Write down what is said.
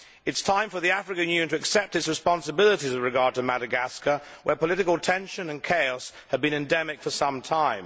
It is time for the African Union to accept its responsibilities with regard to Madagascar, where political tension and chaos have been endemic for some time.